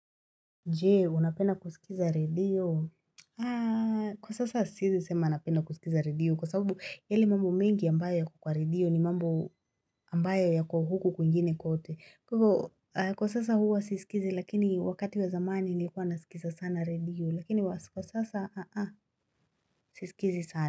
Je, unapenda kusikiza redio? Kwa sasa siezi sema napenda kusikiza redio kwa sababu yale mambo mengi ambayo yako kwa redio ni mambo ambayo yako huku kwingine kote. Kwa sasa huwa sisikizi lakini wakati wa zamani nilkuwa nasikiza sana redio lakini kwa sasa sisikizi sana.